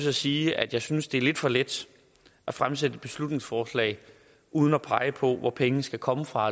at sige at jeg synes det er lidt for let at fremsætte et beslutningsforslag uden at pege på hvor pengene skal komme fra og